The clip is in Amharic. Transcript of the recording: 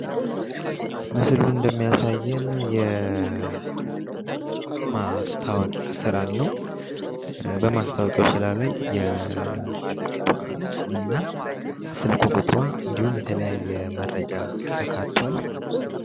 ምስሉ እንደሚያሳዬን የማስታወቂያን ስራን ነው። በማስታወቂያው ስራ ላይ የባለቤቷ ስምና ስልክ ቁጥሯ እንዲሁም የተለያየ መረጃ ተካቷል።